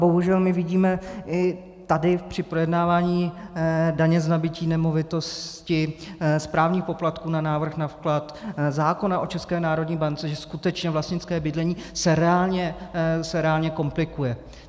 Bohužel, my vidíme i tady při projednávání daně z nabytí nemovitosti, správních poplatků na návrh na vklad, zákona o České národní bance, že skutečně vlastnické bydlení se reálně komplikuje.